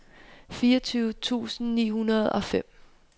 fireogtyve tusind ni hundrede og fem